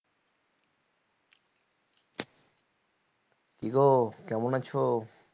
কি গো কেমন আছো?